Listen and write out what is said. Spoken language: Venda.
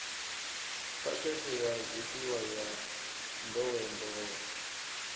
phakhethe ya zwifhiwa ya nḓowenḓowe